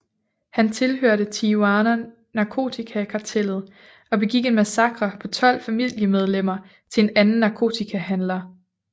Han tilhørte Tijuana narkotikakartellet og begik en massakre på tolv familiemedlemmer til en anden narkotikahandler